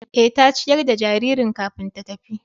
Eh, ta ciyar da jaririn kafin ta tafi